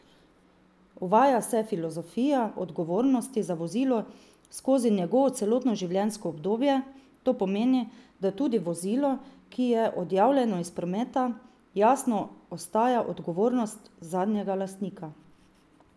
Uvaja se filozofija odgovornosti za vozilo skozi njegovo celotno življenjsko obdobje, to pomeni, da tudi vozilo, ki je odjavljeno iz prometa, jasno ostaja odgovornost zadnjega lastnika.